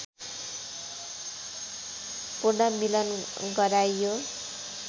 पुनर्मिलन गराइयो